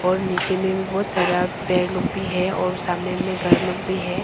और नीचे में भी बहुत सारा पेड़ लोग भी है और सामने में गार्ड लोग भी है।